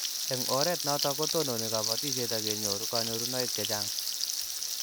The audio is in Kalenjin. Eng' oret notok ko tononi kabatishet akenyoru kanyorunoik che chang'